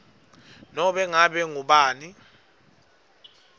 nobe ngabe ngubani